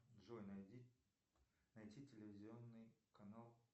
джой найди найти телевизионный канал